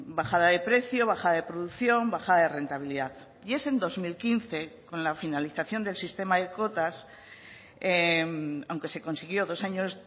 bajada de precio bajada de producción bajada de rentabilidad y es en dos mil quince con la finalización del sistema de cotas aunque se consiguió dos años